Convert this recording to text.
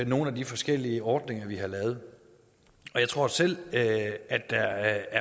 nogle af de forskellige ordninger vi har lavet jeg tror selv at der